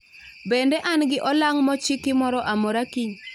Bende an gi olang' mochiki moro amora kiny